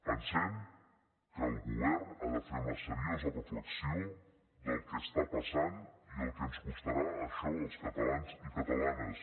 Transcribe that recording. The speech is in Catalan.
pensem que el govern ha de fer una seriosa reflexió del que està passant i el que ens costarà això als catalans i catalanes